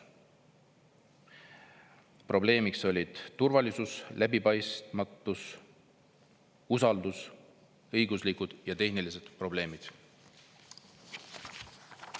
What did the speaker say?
Probleemiks olid turvalisus, läbipaistmatus, usaldus, õiguslikud ja tehnilised probleemid.